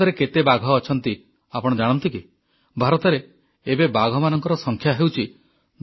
ଭାରତରେ କେତେ ବାଘ ଅଛନ୍ତି ଆପଣ ଜାଣନ୍ତି କି ଭାରତରେ ଏବେ ବାଘମାନଙ୍କର ସଂଖ୍ୟା ହେଉଛି 2967